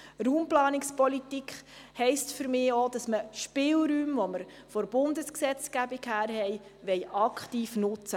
Raumplanungspolitik heisst für mich auch, Spielräume, die von der Bundesgesetzgebung her gegeben sind, aktiv zu nutzen.